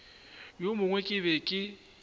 wo mongwe ke be ke